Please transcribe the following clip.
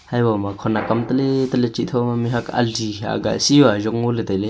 haibu ma khenak am tele tale chih thoma mihhuak am ali hi aga si yao ajon ley tailey.